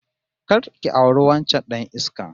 Kar ki auri wancan dan iskan!